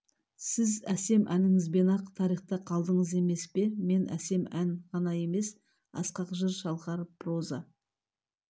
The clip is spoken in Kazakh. сіз әсем әніңізбен-ақ тарихта қалдыңыз емес пе мен әсем ән ғана емес асқақ жыр шалқар проза